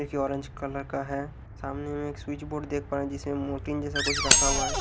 ए C orange colour का है सामने में एक स्विच बोर्ड देख पा रहे जिसमें मॉरटीन जैसा कुछ रखा हुआ है।